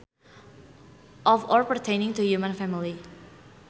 Of or pertaining to human family